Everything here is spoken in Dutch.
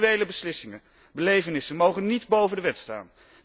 Individuele beslissingen, belevenissen mogen niet boven de wet staan.